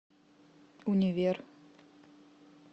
универ